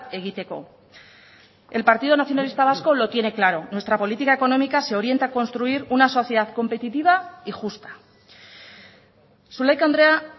egiteko el partido nacionalista vasco lo tiene claro nuestra política económica se orienta a construir una sociedad competitiva y justa zulaika andrea